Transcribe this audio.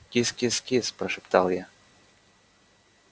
кис-кис-кис прошептал я